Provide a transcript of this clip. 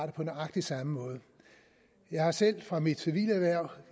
på nøjagtig samme måde jeg har selv fra mit civile erhverv